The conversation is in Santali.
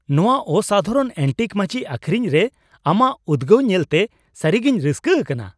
ᱱᱚᱶᱟ ᱚᱥᱟᱫᱷᱟᱨᱚᱱ ᱮᱹᱱᱴᱤᱠ ᱢᱟᱹᱪᱤ ᱟᱹᱠᱷᱨᱤᱧ ᱨᱮ ᱟᱢᱟᱜ ᱩᱫᱜᱟᱹᱣ ᱧᱮᱞᱛᱮ ᱥᱟᱹᱨᱤᱜᱮᱧ ᱨᱟᱹᱥᱠᱟᱹ ᱟᱠᱟᱱᱟ ᱾